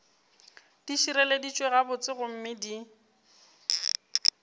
di šireleditšwe gabotse gomme di